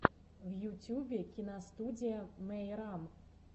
в ютюбе киностудия мейрам